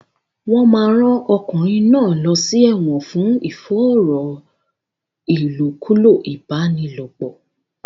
Wọn máa rán ọkùnrin náà lọ sí ẹ̀wọ̀n fún ìfòòró ìlòkulò ìbálòpọ̀.